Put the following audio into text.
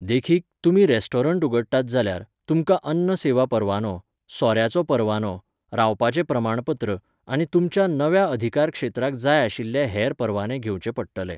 देखीक, तुमी रेस्टॉरंट उगडटात जाल्यार, तुमकां अन्न सेवा परवानो, सोऱ्याचो परवानो, रावपाचें प्रमाणपत्र, आनी तुमच्या नव्या अधिकारक्षेत्राक जाय आशिल्ले हेर परवाने घेंवचे पडटले.